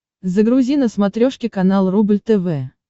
загрузи на смотрешке канал рубль тв